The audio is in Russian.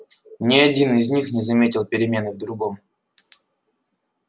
ни один из них не заметил перемены в другом